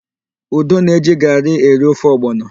Udo na-eji garị eri ofe ọgbọnọ.